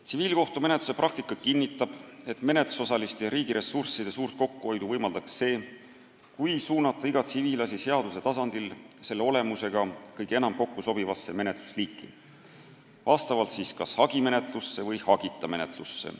Tsiviilkohtumenetluse praktika kinnitab, et menetlusosaliste ja riigi ressursside suurt kokkuhoidu võimaldaks see, kui suunata iga tsiviilasi seaduse tasandil selle olemusega kõige enam kokku sobivasse menetlusliiki, vastavalt kas hagimenetlusse või hagita menetlusse.